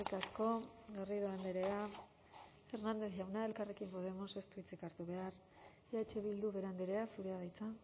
asko garrido andrea hernández jauna elkarrekin podemos ez du hitzik hartu behar eh bildu ubera andrea zurea da hitza